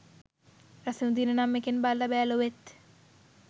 රසවිඳින්න නම් එකෙන් බලලා බෑ ලොවෙත්.